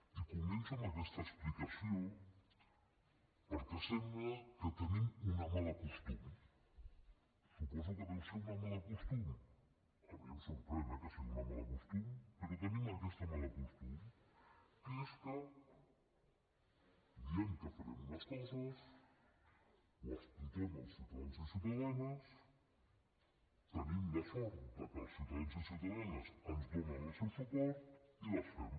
i començo amb aquesta explicació perquè sembla que tenim un mal costum suposo que deu ser un mal costum a mi em sorprèn eh que sigui un mal costum però tenim aquest mal costum que és que diem que farem unes coses ho expliquem als ciutadans i ciutadanes tenim la sort que els ciutadans i ciutadanes ens donen el seu suport i les fem